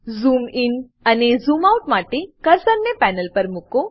zoom in અને zoom out માટે કર્સરને પેનલ પર મુકો